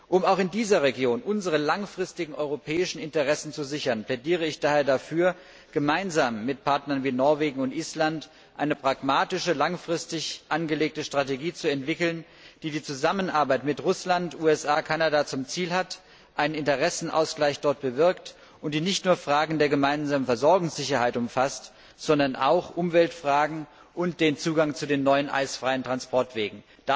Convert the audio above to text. Um auch in dieser Region unsere langfristigen europäischen Interessen zu sichern, plädiere ich daher dafür, gemeinsam mit Partnern wie Norwegen und Island eine pragmatische, langfristig angelegte Strategie zu entwickeln, die die Zusammenarbeit mit Russland, den USA und Kanada zum Ziel hat, die einen Interessenausgleich dort bewirkt, und die nicht nur Fragen der gemeinsamen Versorgungssicherheit umfasst, sondern auch Umweltfragen und den Zugang zu den neuen eisfreien Transportwegen.